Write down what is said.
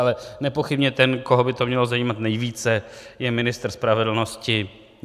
Ale nepochybně ten, koho by to mělo zajímat nejvíce, je ministr spravedlnosti.